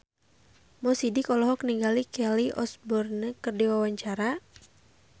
Mo Sidik olohok ningali Kelly Osbourne keur diwawancara